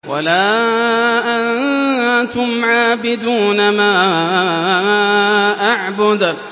وَلَا أَنتُمْ عَابِدُونَ مَا أَعْبُدُ